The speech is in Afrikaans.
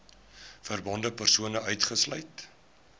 verbonde persone uitgesluit